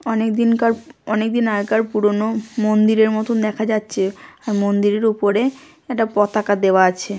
অনেক দিনকার অনেকদিন আগেকার পুরনো মন্দিরের মতন দেখা যাচ্ছে আর মন্দিরের উপরে একটা পতাকা দেওয়া আছে।